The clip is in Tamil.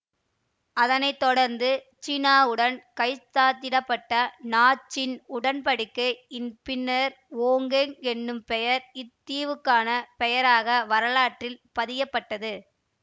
அதனை தொடர்ந்து சீனாவுடன் கைச்சாத்திட பட்ட நாஞ்சிங் உடன் படிக்கை இன் பின்னரே ஓங்கெங் எனும் பெயர் இத்தீவுக்கான பெயராக வரலாற்றில் பதியப்பட்டது